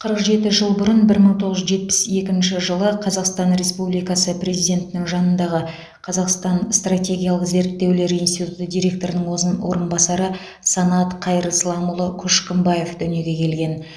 қырық жеті жыл бұрын бір иың тоғыз жүз жетпіс екінші қазақстан республикасы президентінің жанындағы қазақстан стратегиялық зерттеулер институты директорының орынбасары санат қайырсламұлы көшкімбаев дүниеге келген